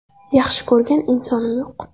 Yaxshi ko‘rgan insonim yo‘q.